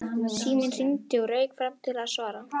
Síminn hringdi og ég rauk fram til að svara.